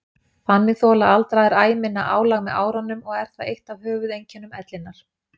Þannig þola aldraðir æ minna álag með árunum og er það eitt af höfuðeinkennum ellinnar.